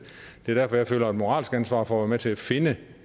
er derfor jeg føler et moralsk ansvar for at være med til at finde